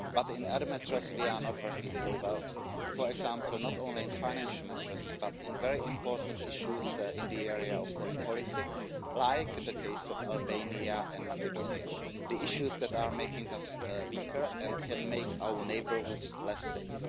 But in other matters we are not working so well, for example not only in financial matters but in very important issues in the area of foreign policy, like the case of Albania and Macedonia, the issues that are making us weaker and can make our neighbourhoods less safe.